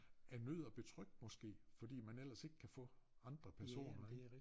Af nød og betryk måske fordi man ellers ikke kan få andre personer ik